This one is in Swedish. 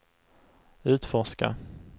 utforska